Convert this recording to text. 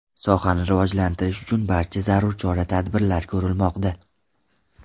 Sohani rivojlantirish uchun barcha zarur chora-tadbirlar ko‘rilmoqda.